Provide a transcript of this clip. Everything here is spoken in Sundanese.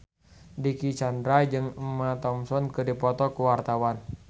Dicky Chandra jeung Emma Thompson keur dipoto ku wartawan